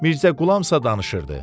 Mirzəqulamsa danışırdı.